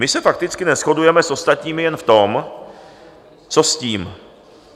My se fakticky neshodujeme s ostatními jen v tom, co s tím.